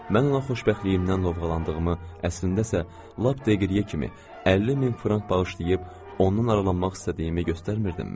Mən ona xoşbəxtliyimdən lovğalandığımı, əslində isə lap Degriye kimi 50 min frank bağışlayıb ondan aralanmaq istədiyimi göstərmirdimmi?